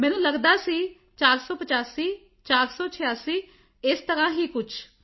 ਮੈਨੂੰ ਲੱਗਦਾ ਸੀ ਕਿ 485 486 ਇਸ ਤਰ੍ਹਾਂ ਹੀ ਕੁਝ